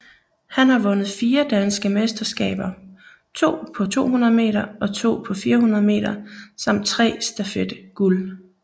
Han har vundet fire danske mesterskaber to på 200 meter og to på 400 meter samt tre stafet guld